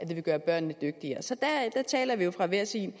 ville gøre børnene dygtigere så der taler vi jo fra hver sin